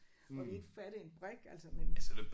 Og vi ikke fattede en brik altså men